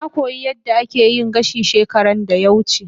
Na koyi yadda ake yin gashi shekaran da ya wuce.